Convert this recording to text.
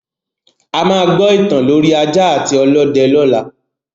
A máa gbọ ìtàn lorí ajá àti ọlọ́dẹ lọla